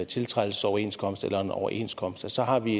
tiltrædelsesoverenskomst eller en overenskomst at så har vi